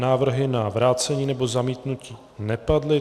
Návrhy na vrácení nebo zamítnutí nepadly.